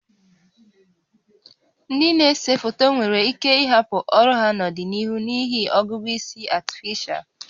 Ndị na-ese foto nwere ike ịhapụ ọrụ ha n'ọdịnihu n'ihi ọgụgụ isi Artificial (AI)